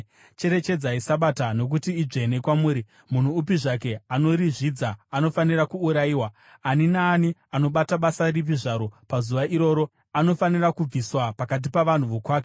“ ‘Cherechedzai Sabata, nokuti idzvene kwamuri. Munhu upi zvake anorizvidza anofanira kuurayiwa; ani naani anobata basa ripi zvaro pazuva iroro anofanira kubviswa pakati pavanhu vokwake.